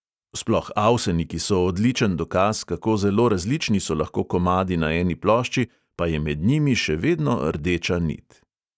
Sploh avseniki so odličen dokaz, kako zelo različni so lahko komadi na eni plošči, pa je med njimi še vedno rdeča nit.